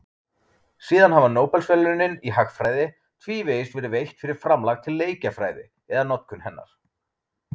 Síðan hafa Nóbelsverðlaunin í hagfræði tvívegis verið veitt fyrir framlag til leikjafræði eða notkun hennar.